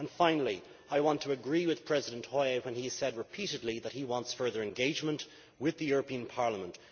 Finally, I want to agree with President Hoyer when he said repeatedly that he wants further engagement with the European Parliament.